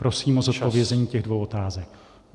Prosím o zodpovězení těch dvou otázek.